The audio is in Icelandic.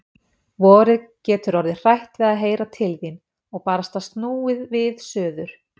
Vorið getur orðið hrætt við að heyra til þín. og barasta snúið við suður.